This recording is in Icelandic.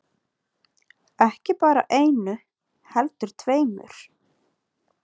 Ekki bara einu heldur tveimur.